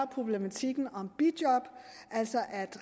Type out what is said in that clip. problematikken om bijob altså at